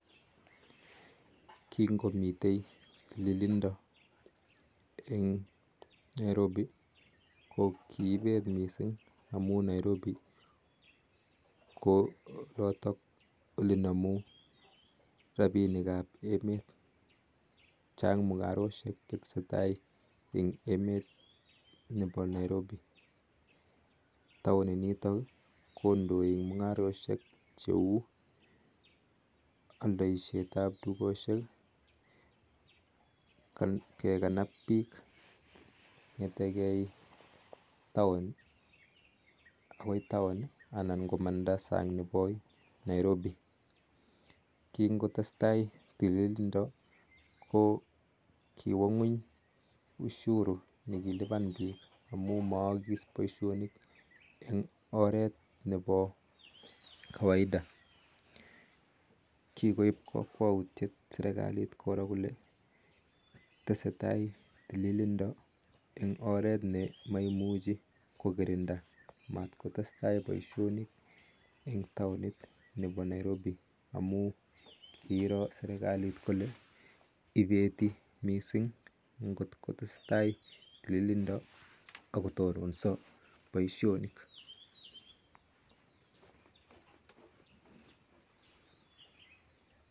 Kingomiteii tililindaa eng nairobi amun namuu rapinik ap emet chaang mingarosheek taoni nitok ko ndoii eng mungarosheek kingotesetaii tililindaa kokiwaa paarak tugun chechang kikoip kakwautiik koraa seikalit tugun chcheang neaa